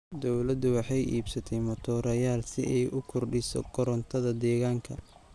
Dawladdu waxay iibsatay matoorayaal si ay u kordhiso korontadda deegaanka.